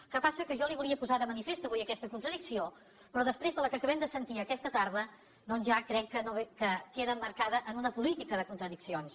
el que passa que jo li volia posar de manifest avui aquesta contradicció però després de la que acabem de sentir aquesta tarda doncs ja crec que queda emmarcada en una po lítica de contradiccions